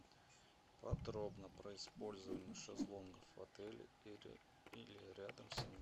подробно про использование шезлонгов в отеле или рядом с ним